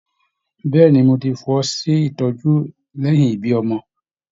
Bẹ̀ẹ́ni, mo tí fọwọsi ìtọjú lẹyìn ibí ọmọ.